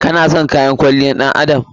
Ki/ka na son kayan kwalliyar ɗan adam?